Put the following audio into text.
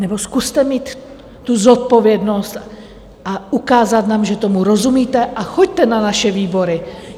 Nebo zkuste mít tu zodpovědnost a ukázat nám, že tomu rozumíte, a choďte na naše výbory.